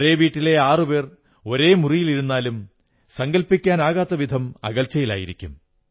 ഒരേ വീട്ടിലെ ആറുപേർ ഒരേ മുറിയിലിരുന്നാലും സങ്കൽപ്പിക്കാനാകാത്ത വിധം അകൽച്ചയിലായിരിക്കും